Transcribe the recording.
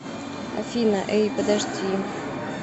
афина эй подожди